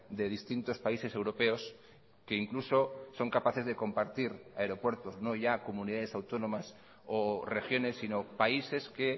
de distintos países europeos que incluso son capaces de compartir aeropuertos no ya comunidades autónomas o regiones sino países que